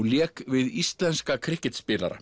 lék við íslenska